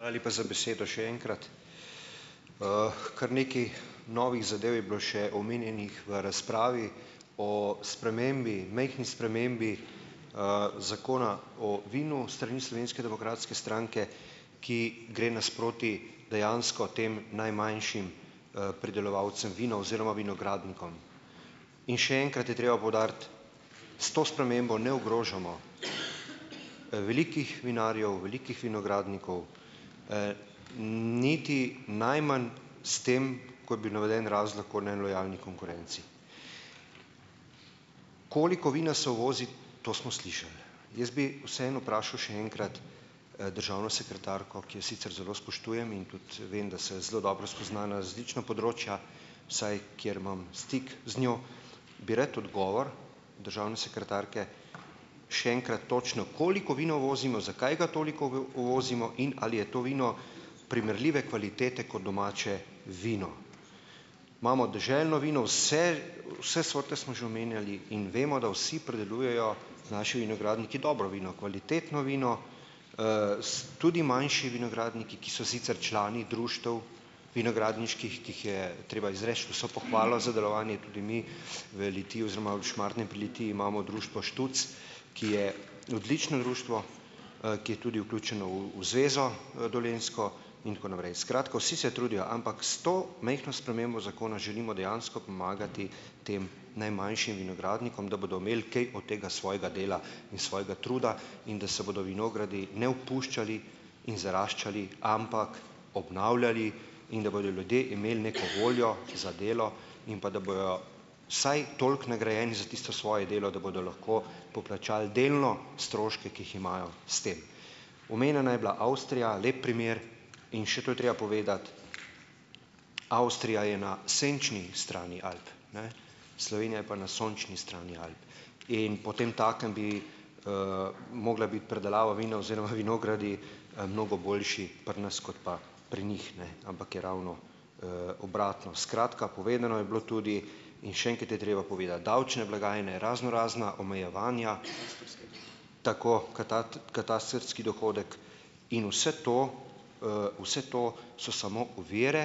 Hvala lepa za besedo, še enkrat, H kar nekaj novih zadev je bilo še omenjenih v razpravi. O spremembi, majhni spremembi, Zakona o vinu s strani Slovenske demokratske stranke, ki gre nasproti dejansko tem najmanjšim, pridelovalcem vina oziroma vinogradnikom. In še enkrat je treba poudariti: s to spremembo ne ogrožamo, velikih vinarjev, velikih vinogradnikov, niti najmanj s tem, kot bi naveden razlog o nelojalni konkurenci. Koliko vina se uvozi, to smo slišali. Jaz bi vseeno vprašal še enkrat, državno sekretarko, ki jo sicer zelo spoštujem in tudi vem, da se zelo dobro spozna na različna področja, vsaj, kjer imam stik z njo, bi rad odgovor državne sekretarke še enkrat točno, koliko vina uvozimo, zakaj ga toliko v uvozimo in ali je to vino primerljive kvalitete kot domače vino. Imamo deželno vino, vse vse sorte smo že omenjali in vemo, da vsi predelujejo naši vinogradniki dobro vino, kvalitetno vino, tudi manjši vinogradniki, ki so sicer člani društev vinogradniških, ki jih je treba izreči vso pohvalo za delovanje. Tudi mi v Litiji oziroma v Šmartnem pri Litiji imamo društvo Štuc, ki je odlično društvo, ki je tudi vključeno v, v zvezo, dolenjsko in tako naprej. Skratka, vsi se trudijo, ampak s to majhno spremembo zakona želimo dejansko pomagati tem najmanjšim vinogradnikom, da bodo imeli kaj od tega svojega dela in svojega truda in da se bodo vinogradi ne opuščali in zaraščali, ampak obnavljali in da bojo ljudje imeli neko voljo za delo in pa da bojo vsaj toliko nagrajeni za tisto svoje delo, da bodo lahko poplačali delno stroške, ki jih imajo s tem. Omenjena je bila Avstrija, lep primer. In še to je treba povedati, Avstrija je na senčni strani Alp, ne, Slovenija je pa na sončni strani Alp. In potemtakem bi, mogla biti predelava vina oziroma vinogradi, mnogo boljši pri nas kot pa pri njih, ne, ampak je ravno, obratno. Skratka, povedano je bilo tudi in še enkrat je treba povedati, davčne blagajne, raznorazna omejevanja, tako, katastrski dohodek in vse to, vse to so samo ovire,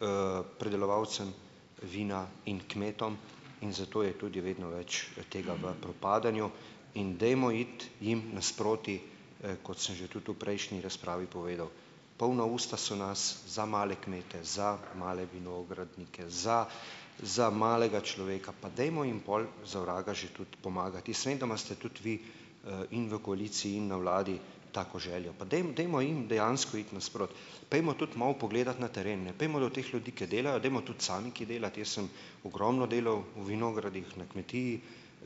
pridelovalcem vina in kmetom. In zato je tudi vedno več, tega v propadanju. In dajmo iti jim nasproti, kot sem že tudi v prejšnji razpravi povedal. Polna usta so nas za male kmete, za male vinogradnike, za za malega človeka. Pa dajmo jim pol, za vraga, že tudi pomagati. Jaz vem, da imate tudi vi in v koaliciji in na vladi tako željo. Pa dajmo jim dejansko iti nasproti. Pojdimo tudi malo pogledati na teren, ne. Pojdimo do teh ljudi, ki delajo. Dajmo tudi sami kaj delati. Jaz sem ogromno delal v vinogradih, na kmetiji,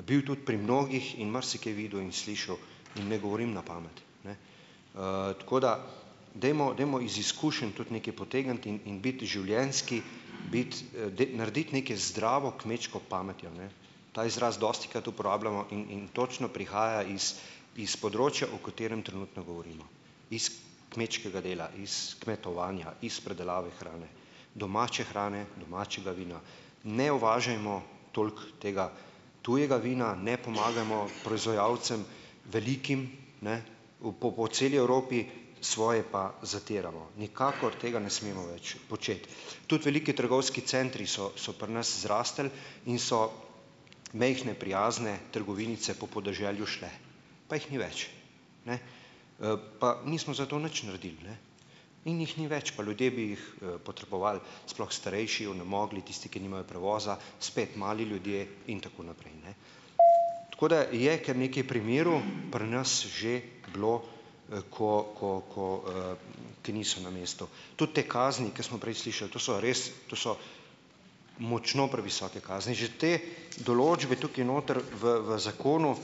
bil tudi pri mnogih in marsikaj videl in slišal in ne govorim na pamet. Ne? Tako da dajmo, dajmo iz izkušenj tudi nekaj potegniti in in biti življenjski, biti, da narediti nekaj z zdravo kmečko pametjo, ne. Ta izraz dostikrat uporabljamo in in točno prihaja iz iz področja, o katerem trenutno govorimo, iz kmečkega dela, iz kmetovanja, iz predelave hrane, domače hrane, domačega vina. Ne uvažajmo toliko tega tujega vina, ne pomagajmo proizvajalcem velikim, ne? O po po celi Evropi, svoje pa zatiramo. Nikakor tega ne smemo več početi. Tudi veliki trgovski centri so so pri nas zrastli in so majhne prijazne trgovinice po podeželju šle, pa jih ni več. Ne? Pa nismo za to nič naredili, ne. In jih ni več, pa ljudje bi jih, potrebovali, sploh starejši, onemogli, tisti, ki nimajo prevoza, spet mali ljudje in tako naprej, ne. Tako da je kar nekaj primerov pri nas že bilo, ko, ko, ko, ki niso na mestu. Tudi te kazni, ko smo prej slišali, to so res, to so močno previsoke kazni. Že te določbe tukaj notri v, v zakonu,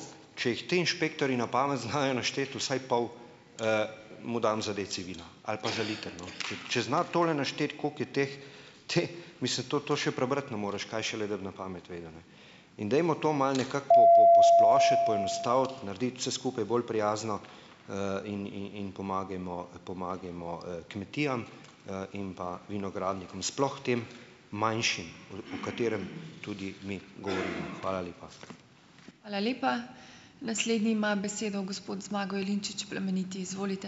če jih tej inšpektorji na pamet znajo našteti vsaj pol, mu dam za deci vina ali pa za liter, no. Če, če zna tole našteti, koliko je teh te, mislim, to, to še prebrati ne moreš, kaj šele, da bi na pamet vedel, ne. In dajmo to malo nekako posplošiti, poenostaviti, narediti vse skupaj bolj prijazno, in in in pomagajmo, pomagajmo, kmetijam, in pa vinogradnikom, sploh tem manjšim, o katerem tudi mi govorimo. Hvala lepa.